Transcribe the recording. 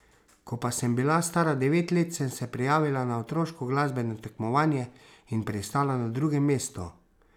Ko pa sem bila stara devet sem se prijavila na otroško glasbeno tekmovanje in pristala na drugem mestu.